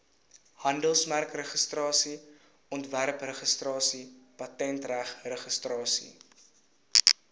handelsmerkregistrasie ontwerpregistrasie patentregistrasie